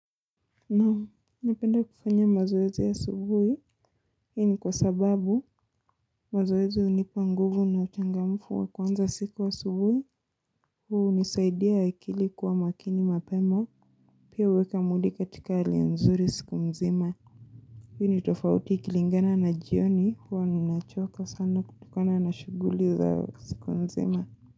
Naam, napenda kufanya mazoezu asubuhi, hii ni kwa sababu mazoezi unipa nguvu na uchangamfu wa kuanza siku asubuhi, huu unisaidia akili kuwa makini mapema, pia uweka mood katika hali nzuri siku mzima. Hi ni tofauti ikilingana na jioni huwa ninachoka sana kutokona na shuguli za siku mzima.